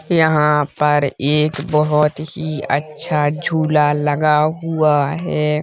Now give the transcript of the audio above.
यहाँ पर एक बहुत ही अच्छा झूला लगा हुआ है।